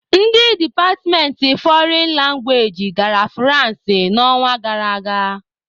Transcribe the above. Ndị departmentị fọrịn langwaeji gara Fụransị n'ọnwa gara aga.